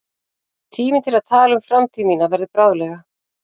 Tíminn til að tala um framtíð mína verður bráðlega.